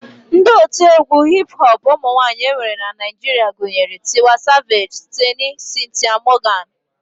Ndị otiegwu hip hop ụmụnwaanyị e nwere na Naijiria gụnyere Tiwa savage, Teni, Cynthia Morgan